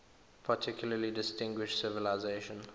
particularly distinguished civilization